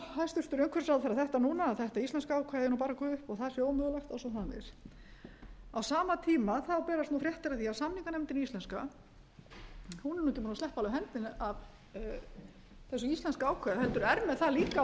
hæstvirtur umhverfisráðherra þetta núna að þetta íslenska ákvæði eigi bara að gufa upp og það sé ómögulegt og svo framvegis á sama tíma þá berast nú fréttir af því að samninganefndin íslenska hún mundi alveg sleppa hendinni af þessu íslenska ákvæði heldur er með það líka á